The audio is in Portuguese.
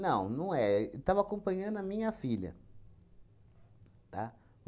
Não, não é. Estava acompanhando a minha filha, tá?